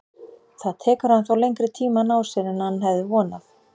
Það tekur hann þó lengri tíma að ná sér en hann hefði vonað.